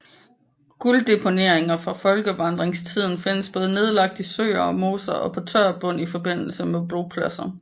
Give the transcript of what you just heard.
Gulddeponeringer fra folkevandringstiden findes både nedlagt i søer eller moser og på tør bund i forbindelse med bopladser